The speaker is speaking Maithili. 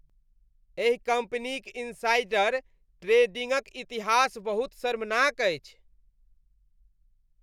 एहि कम्पनीक इनसाइडर ट्रेडिंगक इतिहास बहुत शर्मनाक अछि।